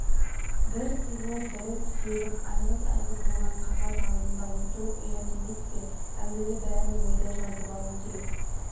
бірі сызылып бірі түзеліп айғыз-айғыз болған қағаз алдында отыру ұят емес пе Әуелі бәрін ойда жазып алу керек